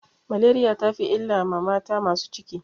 Maleriya ta fi illa ma mata masu ciki.